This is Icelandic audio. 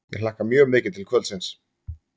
Ég hlakka mjög mikið til kvöldsins.